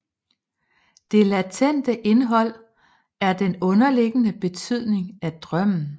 Det latente indhold er den underliggende betydning af drømmen